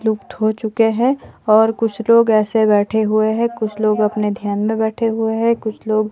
लुफ्त हो चुके हैं और कुछ लोग ऐसे बैठे हुए हैं कुछ लोग अपने ध्यान में बैठे हुए हैं कुछ लोग--